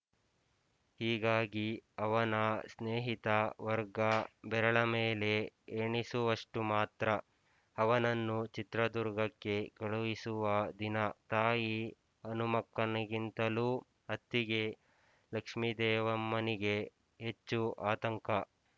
ಹೀಗಾಗಿ ಅವನ ಸ್ನೇಹಿತ ವರ್ಗ ಬೆರಳಮೇಲೆ ಎಣಿಸುವಷ್ಟು ಮಾತ್ರ ಅವನನ್ನು ಚಿತ್ರದುರ್ಗಕ್ಕೆ ಕಳುಹಿಸುವ ದಿನ ತಾಯಿ ಹನುಮಕ್ಕಮ್ಮನಿಗಿಂತಲೂ ಅತ್ತಿಗೆ ಲಕ್ಷ್ಮೀದೇವಮ್ಮನಿಗೆ ಹೆಚ್ಚು ಆತಂಕ